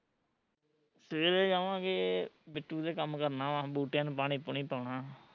ਸਵੇਰੇ ਜਾਵਾਂਗੇ, ਬਿੱਟੂ ਦੇ ਕੰਮ ਕਰਨਾ ਵਾ ਬੂਟਿਆ ਨੂੰ ਪਾਣੀ ਪੂਣੀ ਪਾਉਣਾ